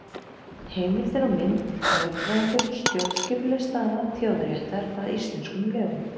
Heimildir og mynd: Lögfræðingur- Stjórnskipuleg staða þjóðaréttar að íslenskum lögum.